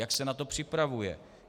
Jak se na to připravuje.